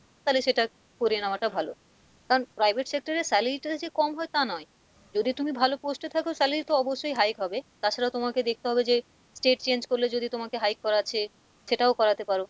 তালে সেটা করে নেওয়াটা ভালো কারণ private sector এ salary টা যে কম হয় তা নয় যদি তুমি ভালো post এ থাকো salary তো অবশ্যই high হবে তাছাড়াও তোমাকে দেখতে হবে যে state change করলে যদি তোমাকে high করাচ্ছে, সেটাও করাতে পারো,